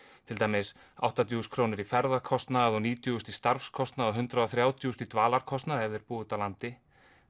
til dæmis áttatíu þúsund krónur í ferðakostnað og níutíu þúsund í starfskostnað og hundrað og þrjátíu þúsund í dvalarkostnað ef þeir búa úti á landi